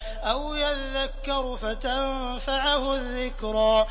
أَوْ يَذَّكَّرُ فَتَنفَعَهُ الذِّكْرَىٰ